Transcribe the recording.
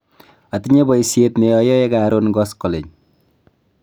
atinye boisiet ne ayoe karon koskoleny